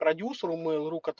продюсеру мейл ру кот